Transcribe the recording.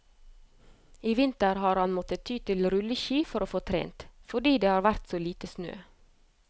I vinter har han måttet ty til rulleski for å få trent, fordi det har vært så lite snø.